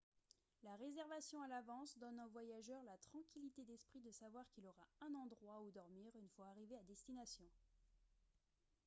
la réservation à l'avance donne au voyageur la tranquillité d'esprit de savoir qu'il aura un endroit où dormir une fois arrivé à destination